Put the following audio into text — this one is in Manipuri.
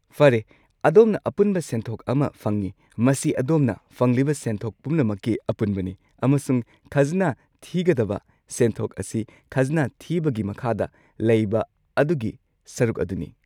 ꯐꯔꯦ, ꯑꯗꯣꯝꯅ ꯑꯄꯨꯟꯕ ꯁꯦꯟꯊꯣꯛ ꯑꯃ ꯐꯪꯏ, ꯃꯁꯤ ꯑꯗꯣꯝꯅ ꯐꯪꯂꯤꯕ ꯁꯦꯟꯊꯣꯛ ꯄꯨꯝꯅꯃꯛꯀꯤ ꯑꯄꯨꯟꯕꯅꯤ, ꯑꯃꯁꯨꯡ ꯈꯖꯅꯥ ꯊꯤꯒꯗꯕ ꯁꯦꯟꯊꯣꯛ ꯑꯁꯤ ꯈꯖꯅꯥ ꯊꯤꯕꯒꯤ ꯃꯈꯥꯗ ꯂꯩꯕ ꯑꯗꯨꯒꯤ ꯁꯔꯨꯛ ꯑꯗꯨꯅꯤ꯫